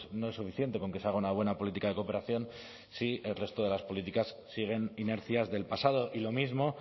no es suficiente con que se haga una buena política de cooperación si el resto de las políticas siguen inercias del pasado y lo mismo